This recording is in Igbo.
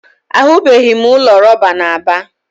Ahụbeghị m ụlọ rọba na Aba.